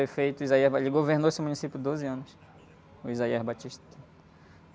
O prefeito... Ele governou esse município doze anos, o.